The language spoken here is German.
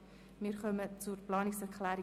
Wir haben hierzu zwei Planungserklärungen.